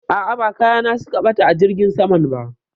A'a, ba kaya na su ka ɓata a jirgin saman ba